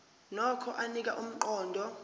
nokho anika umqondo